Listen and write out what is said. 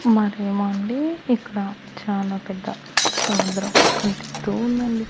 మరేమో అండి ఇక్కడ చాలా పెద్ద సముద్రం కనిపిస్తూ ఉందండి.